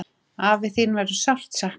Afi, þín verður sárt saknað.